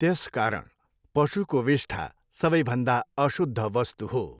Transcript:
त्यसकारण पशुको विष्ठा सबैभन्दा अशुद्ध वस्तु हुो।